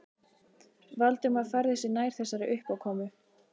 Valdimar færði sig nær þessari uppákomu.